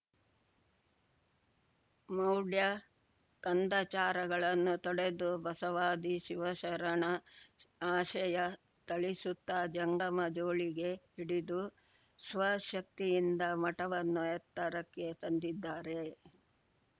ಮೌಢ್ಯಕಂದಚಾರಗಳನ್ನು ತೊಡೆದು ಬಸವಾದಿ ಶಿವಶರಣ ಆಶಯ ತಳಿಸುತ್ತಾ ಜಂಗಮ ಜೋಳಿಗೆ ಹಿಡಿದು ಸ್ವ ಶಕ್ತಿಯಿಂದ ಮಠವನ್ನು ಎತ್ತರಕ್ಕೆ ತಂದಿದ್ದಾರೆ